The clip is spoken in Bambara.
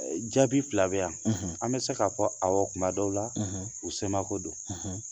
Jaabi fila bɛ yan an bɛ se k'a fɔ awɔ kuma dɔw la u semako don